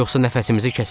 Yoxsa nəfəsimizi kəsər.